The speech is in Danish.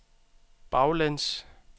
baglæns